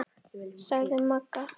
sagði Magga.